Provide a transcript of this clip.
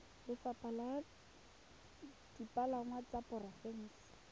lefapha la dipalangwa la porofense